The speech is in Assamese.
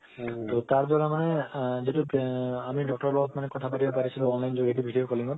তাৰ দ্বাৰা মানে আ যেটো আমি doctor বা কথা পাতিব পাৰিছো online জৰিয়তে video calling ত